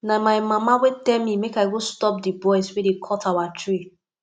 na my mama wey tell me make i go stop the boys wey dey cut our tree